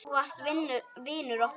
Þú varst vinur okkar.